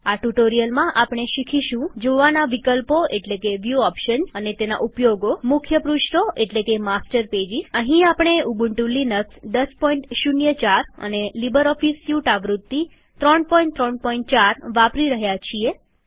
આ ટ્યુટોરીયલમાં આપણે આ વિશે શીખીશું જોવાના વિકલ્પો એટલેકે વ્યુ ઓપ્શન્સ અને તેના ઉપયોગો અને મુખ્ય પૃષ્ઠો એટલેકે માસ્ટર પેજીસ અહીં આપણે ઉબન્ટુ લિનક્સ ૧૦૦૪ અને લીબરઓફીસ સ્યુટ આવૃત્તિ ૩૩૪ વાપરી રહ્યા છીએ